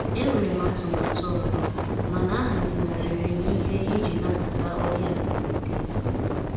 E nwere m atụmatụ ọzọ, mana ahazigharịrị m ihe iji nabata ọbịa mberede.